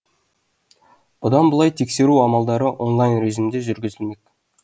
бұдан былай тексеру амалдары онлайн режимде жүргізілмек